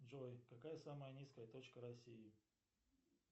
джой какая самая низкая точка россии